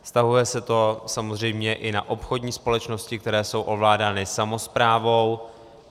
Vztahuje se to samozřejmě i na obchodní společnosti, které jsou ovládány samosprávou.